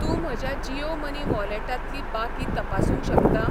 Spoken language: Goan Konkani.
तूं म्हज्या जीयो मनी वॉलेटांतली बाकी तपासूंक शकता?